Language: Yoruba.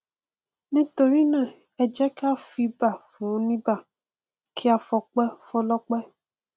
nítorí náà ẹ jẹ ká fìbà foníbà kí a fọpẹ fọlọpẹ